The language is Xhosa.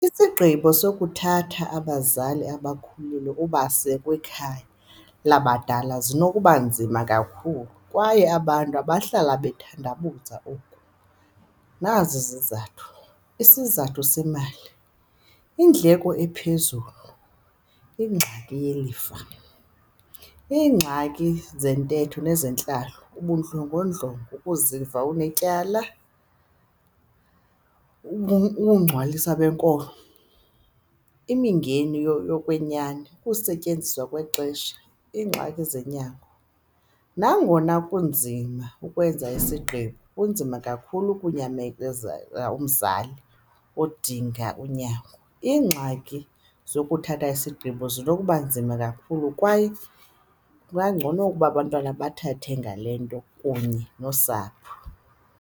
Isigqibo sokuthatha abazali abakhulile ubase kwikhaya labadala zinokuba nzima kakhulu kwaye abantu abahlala bathandabuze oku. Nazi izizathu, isizathu semali, iindleko ephezulu, ingxaki yelifa, iingxaki zentetho nezentlalo, ubundlongondlongo, ukuziva unetyala, ukungcwaliswa benkolo, imingeni yokwenyani, ukusetyenziswa kwexesha ingxaki zonyango. Nangona kunzima ukwenza isigqibo, kunzima kakhulu ukunyamezela umzali odinga unyango. Iingxaki zokuthatha isigqibo zinokuba nzima kakhulu kwaye kungangcono ukuba abantwana bathethe ngale nto kunye nosapho.